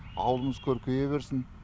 ауылымыз көркейе берсін